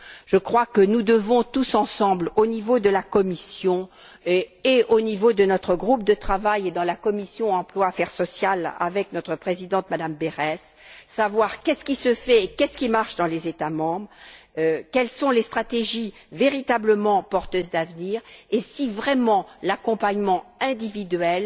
Je crois que nous devons, tous ensemble au niveau de la Commission et au niveau de notre groupe de travail, ainsi que dans la commission de l'emploi et des affaires sociales avec notre présidente, Mme Berès savoir ce qui se fait et ce qui marche dans les États membres, quelles sont les stratégies véritablement porteuses d'avenir et si vraiment l'accompagnement individuel,